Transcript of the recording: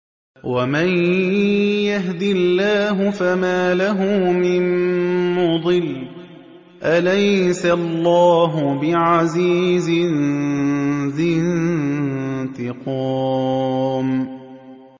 وَمَن يَهْدِ اللَّهُ فَمَا لَهُ مِن مُّضِلٍّ ۗ أَلَيْسَ اللَّهُ بِعَزِيزٍ ذِي انتِقَامٍ